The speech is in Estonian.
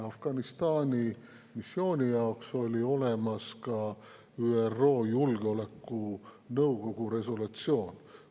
Afganistani missiooni jaoks oli olemas ka ÜRO Julgeolekunõukogu resolutsioon.